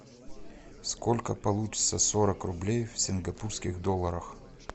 сколько получится сорок рублей в сингапурских долларах